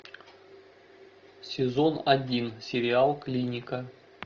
сезон один сериал клиника